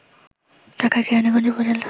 ঢাকার কেরানীগঞ্জ উপজেলা